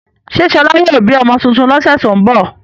Ṣé Ṣọlá yóò bí ọmọ tuntun lọ́sẹ̀ tó ń bọ̀?